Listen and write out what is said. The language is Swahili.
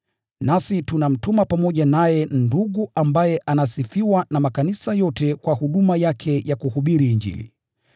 Nasi tunamtuma pamoja naye ndugu ambaye anasifiwa na makanisa yote kwa huduma yake ya kuhubiri Injili.